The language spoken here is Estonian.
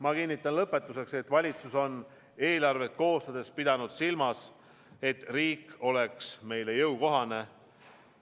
Ma kinnitan lõpetuseks, et valitsus on eelarvet koostades pidanud silmas, et riik oleks meile jõukohane.